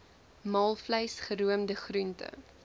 maalvleis geroomde groente